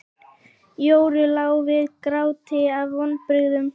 Jóru lá við gráti af vonbrigðum.